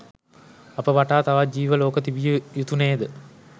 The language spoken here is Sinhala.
අප වටා තවත් ජීව ලෝක තිබිය යුතු නේද?